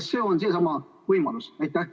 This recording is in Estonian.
Kas see on seesama võimalus?